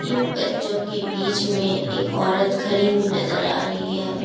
इन बच्चों के बीच में एक औरत खड़ी हुई नजर आ रही है।